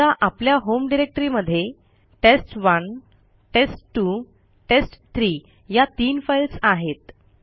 समजा आपल्या होम डिरेक्टरीमध्ये टेस्ट1 टेस्ट2 टेस्ट3 या तीन फाईल्स आहेत